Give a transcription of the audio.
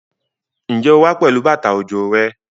Ǹjẹ́ o wá pẹ̀lú bàtà òjò rẹ?